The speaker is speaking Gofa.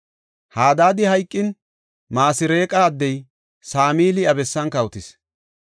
Hadaadi hayqin, Masreeqa addey Samili iya bessan kawotis.